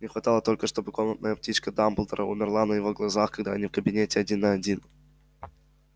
не хватало только чтобы комнатная птичка дамблдора умерла на его глазах когда они в кабинете один на один